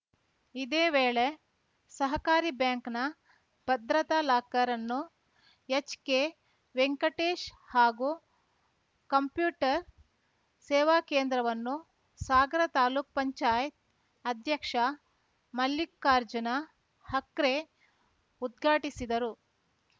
ಇದೇ ವೇಳೆ ಸಹಕಾರಿ ಬ್ಯಾಂಕ್‌ನ ಭದ್ರತಾ ಲಾಕರ್‌ ಅನ್ನು ಎಚ್‌ಕೆವೆಂಕಟೇಶ್‌ ಹಾಗೂ ಕಂಪ್ಯೂಟರ್‌ ಸೇವಾ ಕೇಂದ್ರವನ್ನು ಸಾಗರ ತಾಲೂಕ್ ಪಂಚಾಯತ್‌ ಅಧ್ಯಕ್ಷ ಮಲ್ಲಿಕಾರ್ಜುನ ಹಕ್ರೆ ಉದ್ಘಾಟಿಸಿದರು